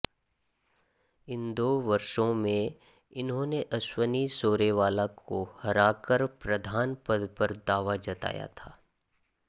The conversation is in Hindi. इन दो वर्षों में इन्होंने अश्वनी शोरेवाला को हराकर प्रधान पद पर दावा जताया था